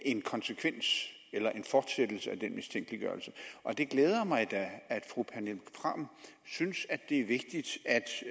en konsekvens eller en fortsættelse af den mistænkeliggørelse og det glæder mig da at fru pernille frahm synes at det er vigtigt